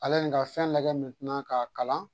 Ale ye n ka fɛn lagɛ k'a kalan